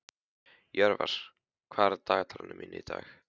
Jörvar, hvað er í dagatalinu mínu í dag?